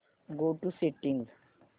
go to settings